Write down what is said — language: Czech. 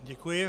Děkuji.